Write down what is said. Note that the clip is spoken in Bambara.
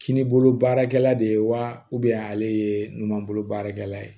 Kininbolo baarakɛla de ye wa ale ye ɲuman bolo baarakɛla ye